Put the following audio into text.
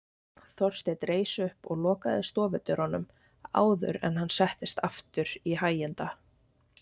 Þorsteinn reis upp og lokaði stofudyrunum áður en hann settist aftur í hæginda